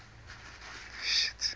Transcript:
ivy